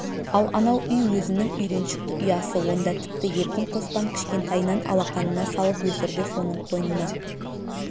ал анау үй өзінің үйреншікті ұясы онда тіпті еркін қоспан кішкентайынан алақанына салып өсірді соның қойнына